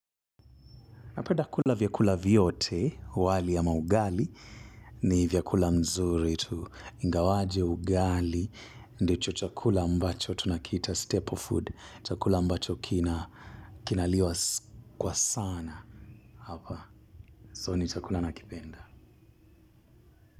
Napenda kula vyakula vyote, wali ama ugali, ni vyakula mzuri tu ingawaje ugali ndicho chakula ambacho tunakiita staple food, chakula ambacho kinaliwa kwa sana hapa, so ni chakula nakipenda.